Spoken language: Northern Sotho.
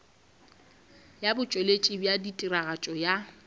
ya botšweletši bja tiragatšo ya